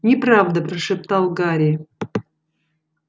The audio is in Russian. неправда прошептал гарри